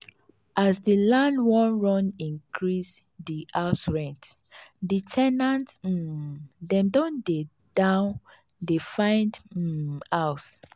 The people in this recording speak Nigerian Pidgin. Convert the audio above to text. as the land wan run increase the house rent the the ten ant um dem don dey down dey find um house